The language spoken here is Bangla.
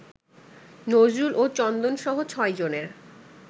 নজরুল ও চন্দনসহ ছয়জনের